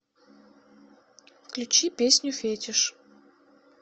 включи песню фетиш